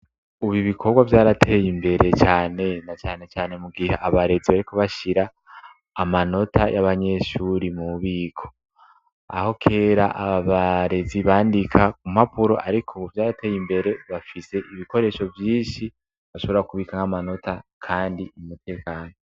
Ubu ibikobwa vyarateye imbere cane, na cane cane mugihe abarezi bariko bashira amanota y'abanyeshuri mubiko ,aho kera ababarezi bandika ku mpapuro arik'ubu vyarateye imbere, bafise ibikoresho vyinshi bashobora kubik'ah'amanota kandi mu mutekano.